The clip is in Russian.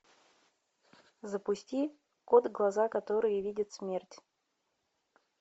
запусти кот глаза которые видят смерть